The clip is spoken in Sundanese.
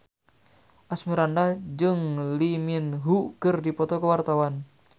Asmirandah jeung Lee Min Ho keur dipoto ku wartawan